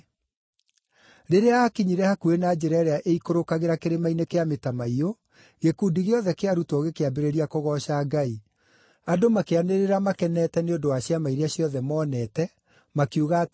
Rĩrĩa aakinyire hakuhĩ na njĩra ĩrĩa ĩikũrũkagĩra Kĩrĩma-inĩ kĩa Mĩtamaiyũ, gĩkundi gĩothe kĩa arutwo gĩkĩambĩrĩria kũgooca Ngai, andũ makĩanĩrĩra makenete nĩ ũndũ wa ciama iria ciothe moonete makiuga atĩrĩ: